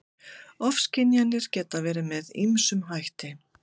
Ofskynjanir geta verið með ýmsum hætti.